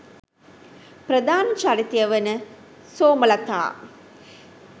ප්‍රධාන චරිතය වන සෝමලතා